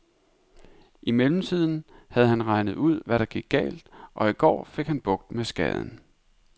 I mellemtiden havde han regnet ud, hvad der var galt, og i går fik han bugt med skaden.